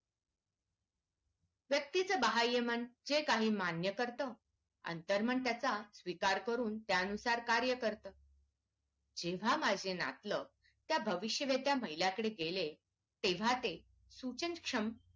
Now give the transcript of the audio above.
व्यक्तीच बाह्यमन हे काही मान्य करतं आंतरमन त्याचा स्वीकार करून त्यानुसार कार्य करतं जेव्हा माझे नातलग त्या भविष्य वर्त्या महिलेकडे गेले तेव्हा ते सूचन क्षम